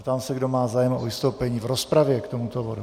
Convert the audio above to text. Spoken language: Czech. Ptám se, kdo má zájem o vystoupení v rozpravě k tomuto bodu.